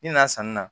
I nana sanni na